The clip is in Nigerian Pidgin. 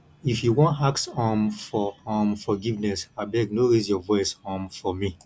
if you wan ask um for um forgiveness abeg no raise your voice um for me